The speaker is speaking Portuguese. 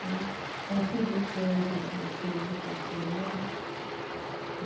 Aí consegui, que hoje eu sei ler e sei escrever, né?